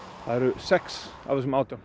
sex af þessum átján